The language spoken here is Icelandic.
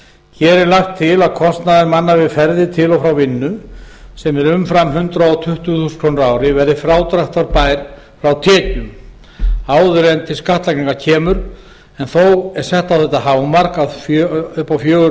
hér er lagt til að kostnaður manna við ferðir til og frá vinnu sem er umfram hundrað tuttugu þúsund krónur verði frádráttarbær frá tekjum áður en til skattlagningar kemur þó að hámarki fjögur